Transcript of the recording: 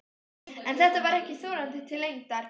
En þetta var ekki þorandi til lengdar.